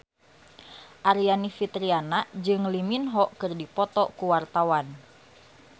Aryani Fitriana jeung Lee Min Ho keur dipoto ku wartawan